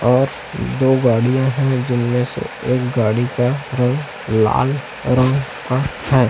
और दो गाड़ियाँ है जिनमें से एक गाड़ी का रंग लाल रंग का हैं।